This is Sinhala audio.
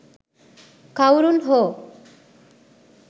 කවුරුන් හෝ